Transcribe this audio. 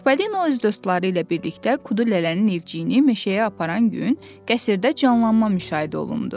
Çipollino öz dostları ilə birlikdə Kudu Lələnin evciyini meşəyə aparan gün qəsrdə canlanma müşahidə olundu.